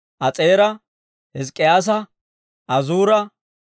As'eera, Hizk'k'iyaasa, Azuura,